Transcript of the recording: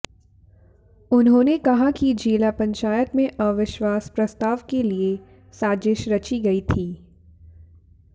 उन्होंने कहा कि जिला पंचायत में अविश्वास प्रस्ताव के लिये साजिश रची गई थी